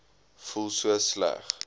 voel so sleg